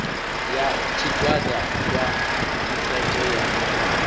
ya tshigwada khwa ṱhisedzo ya